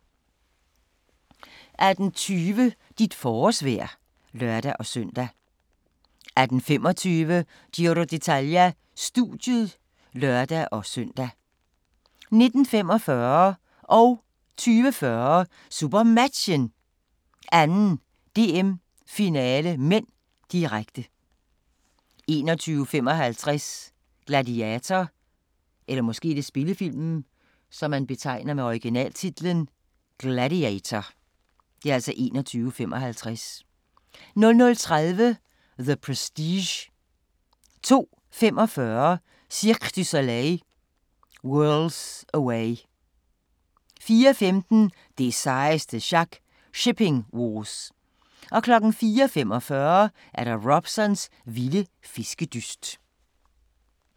18:20: Dit forårsvejr (lør-søn) 18:25: Giro d'Italia: Studiet (lør-søn) 19:45: SuperMatchen: 2. DM-finale (m), direkte 20:40: SuperMatchen: 2. DM-finale (m), direkte 21:55: Gladiator 00:30: The Prestige 02:45: Cirque Du Soleil – Worlds Away 04:15: Det sejeste sjak – Shipping Wars 04:45: Robsons vilde fiskedyst